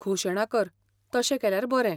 घोशणा कर, तशें केल्यार बरें.